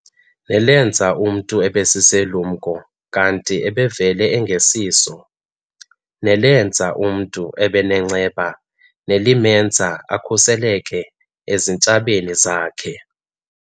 nelenza umntu abesisilumko kanti ebevele engesiso, nelenza umntu abengonenceba nelimenza akhuseleke ezintshabeni zakhe.